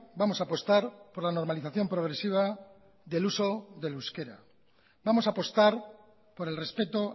vamos a apostar por la normalización progresiva del uso del euskera vamos a apostar por el respeto